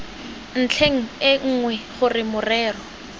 ntlheng e nngwe gore morero